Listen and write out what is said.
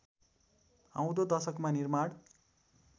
आउँदो दशकमा निर्माण